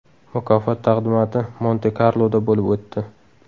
Mukofot taqdimoti Monte-Karloda bo‘lib o‘tdi.